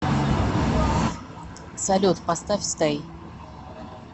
салют поставь стэй